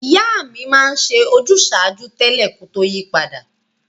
Ìyá mi ma n se ojúsàjúú tẹ́lẹ̀ ko to yi padà